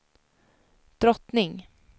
drottning